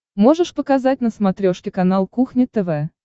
можешь показать на смотрешке канал кухня тв